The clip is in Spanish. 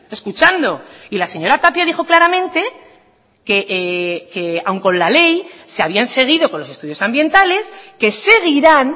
escuchando y la señora tapia dijo claramente que aun con la ley se habían seguido con los estudios ambientales que seguirán